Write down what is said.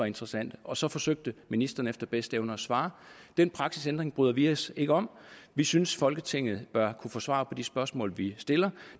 interessant og så forsøgte ministrene efter bedste evne at svare den praksisændring bryder vi os ikke om vi synes folketinget bør kunne få svar på de spørgsmål vi stiller